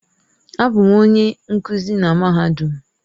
Abụ m onye nkuzi na mahadum.